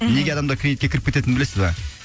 мхм неге адамдар кредитке кіріп кететінін білесіз ба